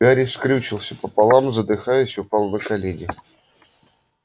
гарри скрючился пополам задыхаясь упал на колени